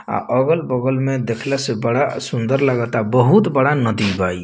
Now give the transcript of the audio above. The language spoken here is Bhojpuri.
अ अगल बगल में देखला से बड़ा सुन्दर लागता बोहुत बड़ाका नदी बा ई।